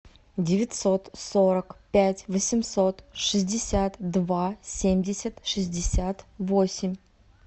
девятьсот сорок пять восемьсот шестьдесят два семьдесят шестьдесят восемь